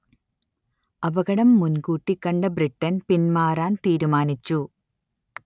അപകടം മുൻകൂട്ടി കണ്ട ബ്രിട്ടൻ പിന്മാറാൻ തീരുമാനിച്ചു